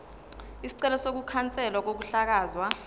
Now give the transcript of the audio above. isicelo sokukhanselwa kokuhlakazwa